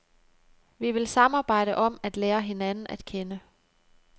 Vi vil samarbejde om at lære hinanden at kende.